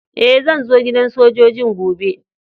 Eh, zan zo gidan sojoji'n gobe.